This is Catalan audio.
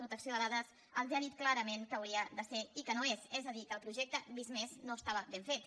protecció de dades els ha dit clarament què hi hauria de ser i què no hi és és a dir que el projecte visc+ no estava ben fet